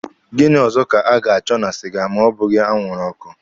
Gịnị ọzọ ka a ga-achọ na siga, ma ọ bụghị anwụrụ ọkụ.